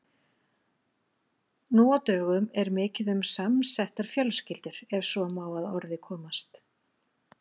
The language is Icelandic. Nú á dögum er mikið um samsettar fjölskyldur ef svo má að orði komast.